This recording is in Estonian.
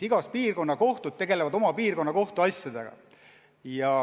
Igas piirkonnas tegelevad kohtud oma piirkonna kohtuasjadega.